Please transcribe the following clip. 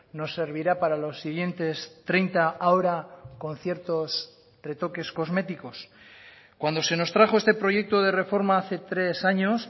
nos servirá para los siguientes treinta ahora con ciertos retoques cosméticos cuando se nos trajo este proyecto de reforma hace tres años